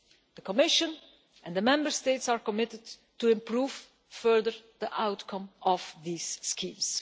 The Commission and the Member States are committed to improve further the outcome of these schemes.